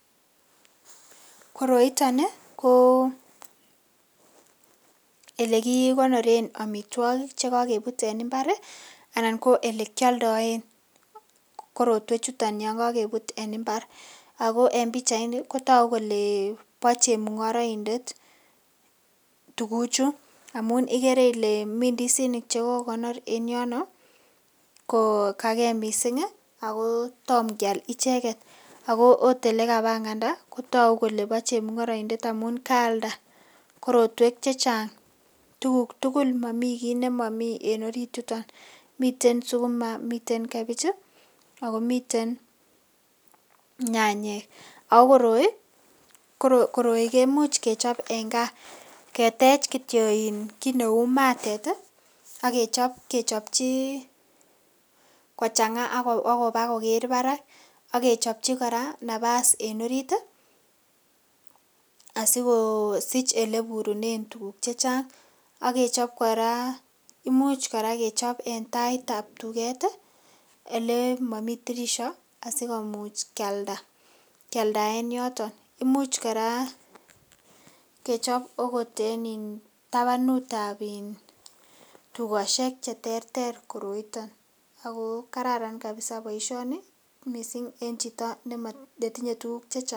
Koroiton ko kit nekikonoren amitwogik Che kakebut en mbar Ole kialdaen korotwechuton yon kakebut en mbar ago pichaini kotogu kele bo chemungaraindet tuguchu amun igere miten ndisinik Che kokonor en yono kogage mising ako Tom kial icheget ago okot Ole kabanganda kotoku kole bo chemungaraindet amun kaalda korotwek Che Chang tuguk tugul mamiten kit nemomi en orit yuton miten sukuma miten kebij ako miten nyanyik ago koroi kemuch kechob en gaa ketech Kityo kit neu matet ak kechob kechopchi kochanga ak koba koger barak ak kechopchi kora nafas en orit asi kosich Ole iburunen tuguk Che Chang ak kechob kora imuch kechob en taitab tuget Ole momi tirisio asi kimuch kealda en yoton Imuch kora kechob okot en In tabanut ab tugosiek Che terter koroiton ago kararan kabisa boisioni mising en chito netinye tuguk Che Chang